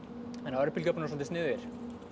örbylgjuofnar eru soldið sniðugir